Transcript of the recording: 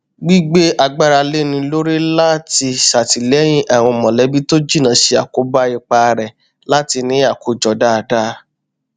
wọn ṣètò ibi iṣẹ tí ó wà ní ìdàkẹjẹ láti ṣàtìlẹyìn fún àfojúsùn àti ìṣedéédé ìhùwàsí jálẹ ọjọ nàà